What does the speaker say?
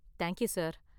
Thank you, sir.